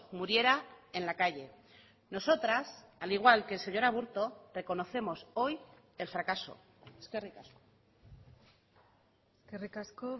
muriera en la calle nosotras al igual que el señor aburto reconocemos hoy el fracaso eskerrik asko eskerrik asko